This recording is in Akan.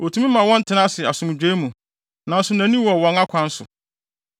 Otumi ma wɔn tena ase asomdwoe mu, nanso nʼani wɔ wɔn akwan so.